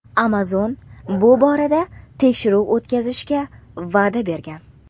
Amazon bu borada tekshiruv o‘tkazishga va’da bergan.